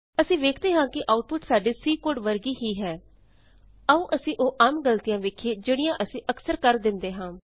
ਅਸੀਂ ਵੇਖਦੇ ਹਾਂ ਕਿ ਆਉਟਪੁਟ ਸਾਡੇ C ਕੋਡ ਵਰਗੀ ਹੀ ਹੈ ਆਉ ਅਸੀਂ ਉਹ ਆਮ ਗਲਤੀਆਂ ਵੇਖੀਏ ਜਿਹੜੀਆਂ ਅਸੀਂ ਅਕਸਰ ਕਰ ਦਿੰਦੇ ਹਾਂ